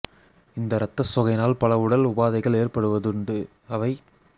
இந்த இரத்த சோகையினால் பல உடல் உபாதைகள் ஏற்படுவதுண்டு அவை